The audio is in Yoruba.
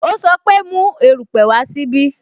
O sọ pe "Mu erupe wá sí ibí "